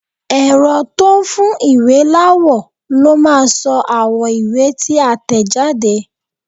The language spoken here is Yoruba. Ẹ̀rọ tó n fún ìwé láwọ̀ ló máa sọ àwọ̀ ìwé tí a tẹ̀jáde